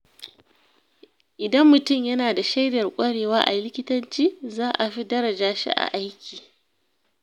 Idan mutum yana da shaidar ƙwarewa a likitanci, za a fi daraja shi a aiki.